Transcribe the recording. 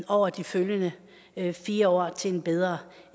over de følgende fire år til en bedre